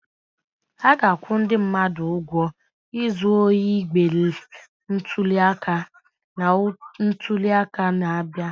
A ga-akwụ ndị mmadụ ụgwọ izu ohi igbe ntuli aka na ntuli aka na-abịa.